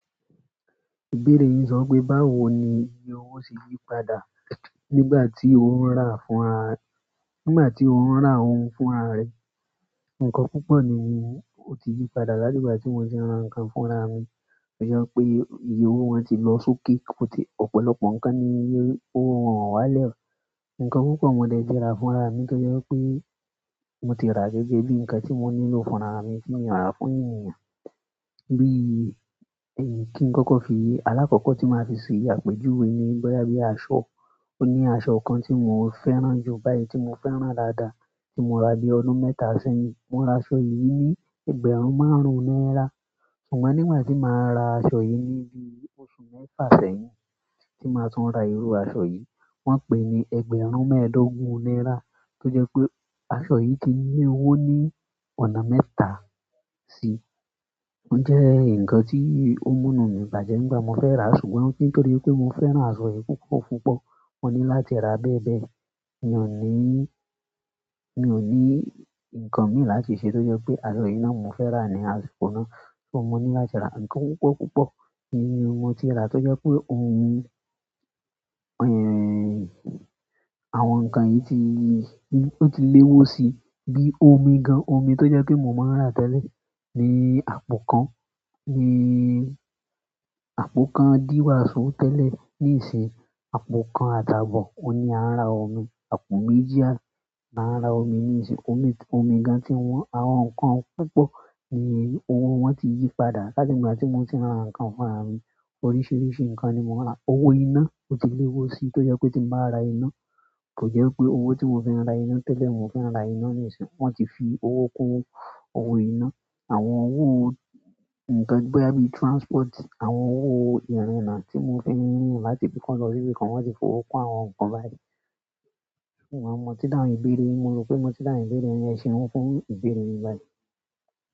Ìbéèrè yín sọ pé báwo ni iye owó ṣe yí padà nígbà tí ó ń rà fún ara-- nígbà tí ó ń rà ohun fún ara rẹ̀. Ǹkan púpọ̀ ni ó ti yí padà láti ìgbà tí mo ti ń ra ǹkan fún ara mi. Ó jẹ́ pé iye owó wọn ti lọ sókè, ó ti ọ̀pọ̀lọpọ̀ ǹkan ni iye owó wọn wà lẹ́. Ǹkan púpọ̀ mo dẹ̀ ti ra fún ara mi torí pé mo ti rà gẹ́gẹ́ bí ǹkan tí mo nílò fún ara mi tí mi o rà fún ènìyàn. Bí i, kí n kọ́kọ́ fi, alákọ̀ọ́kọ́ tí máa fi ṣè àpéjúwe ni boya bí aṣọ. Ó ní aṣọ kan tí mò ń fẹ́ràn jù báyìí tí mo fẹ́ rà dáadáa tí mo rà bí ọdún mẹ́ta sẹ́yìn. Mo ra aṣọ yìí ní ẹgbẹ̀rún márùn-ún náírà. Ṣùgbọ́n nígbà tí màá ra aṣọ yìí níbi oṣù mẹ́fà sẹ́yìn tí màá tún ra irú aṣọ yìí, wọ́n pín ni ẹgbẹ̀rún mẹ́ẹ̀ẹ́dógún náírà. To jẹ pé aṣọ yìí ti lé owó ní ọ̀nà mẹ́ta si. Ó jẹ́ ǹkan tí ó múnu mi bàjẹ́ nígbà mo fẹ́ rà, ṣùgbọ́n kí n torí pé mo fẹ́ràn aṣọ yìí púpọ̀ púpọ̀, mo ní láti ra bẹ́ẹ̀ bẹ́ẹ̀. Mi ò ní, mi ò ní ǹkan mí láti ṣe tó jẹ́ pé aṣọ yìí náà mo fẹ́ rà ní àsìkò náà. So mo ní láti ra ǹkan púpọ̀ púpọ̀ ni owó mo ti rà torí pé òun-- ẹ̀, àwọn ǹkan yìí ti, ó ti léwó sii bi omi gan. Omi tó jẹ́ pé mò maa ń rà tẹ́lẹ̀ ní àpò kan, ní àpò kan díwàsó tẹ́lẹ̀ níìsín, àpò kan àti àbọ̀. Óun ní à n rà omi, àpò méjì, ni a n rà omi níìsín. Omi, omi gan tí wọ́n, àwọn ǹkan púpọ̀ ni owó wọn ti yí padà láti ìgbà tí mo ti maa ń ra ǹkan fún ara mi. Oríṣiríṣi ǹkan ni mo n rà. Owó iná ó ti léwó si, tó jẹ́ pé tí mo bá ra iná, kò jẹ́ wipé owó tí mo fi n ra iná tẹ́lẹ̀ mo fi n ra iná níìsín. Wọ́n ti fi owó kun owó iná. Àwọn owó ǹkan boya bí transport, àwọn owó ìrìnnà tí mo fi ń rin láti ibi kan lọ sí ibi kan wọ́n ti fi owó kun àwọn ǹkan báyìí. Ṣùgbọ́n mo tí dáhùn ìbéèrè yin, mo rò pé mo ti dáhùn ìbéèrè yin. Ẹ ṣeun fún ìbéèrè yín báyìí.